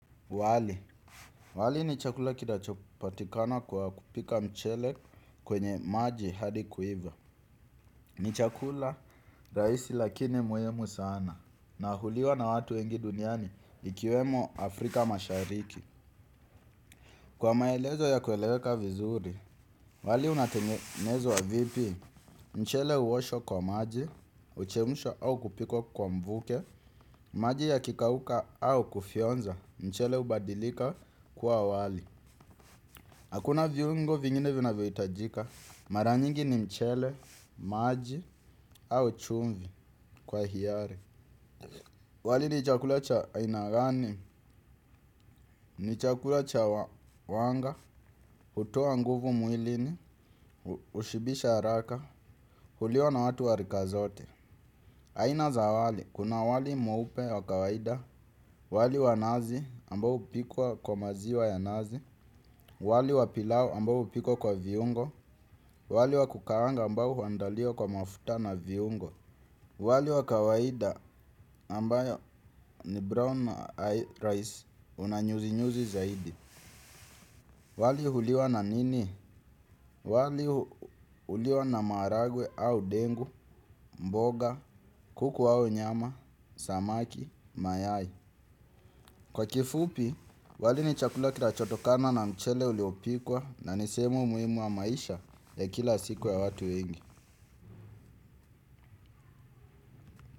Wali, wali ni chakula kinachopatikana kwa kupika mchele kwenye maji hadi kuiva. Ni chakula rahisi lakini muhimu sana na uliwa na watu wengi duniani ikiwemo Afrika mashariki. Kwa maelezo ya kueleweka vizuri, wali unatengenezwa vipi. Mchele huoshwa kwa maji, uchemshwa au kupikwa kwa mvuke. Maji yakikauka au kufyonza, mchele hubadilika kuwa wali. Hakuna viungo vingine vinavyohitajika, mara nyingi ni mchele, maji, au chumvi kwa hiari. Wali ni chakula cha aina gani? Ni chakula cha wanga, hutoa nguvu mwilini, hushibisha haraka, huliwa na watu wa rika zote. Aina za wali, kuna wali mweupe wa kawaida, wali wa nazi ambao hupikwa kwa maziwa ya nazi, wali wa pilau ambao hupikwa kwa viungo, wali wa kukaanga ambao huandaliwa kwa mafuta na viungo, wali wa kawaida ambayo ni brown rice una nyuzi-nyuzi zaidi. Wali huliwa na nini? Wali huliwa na maharagwe au ndengu, mboga, kuku au nyama, samaki, mayai. Kwa kifupi, wali ni chakula kinachotokana na mchele uliopikwa na ni sehemu muhimu wa maisha ya kila siku ya watu wengi.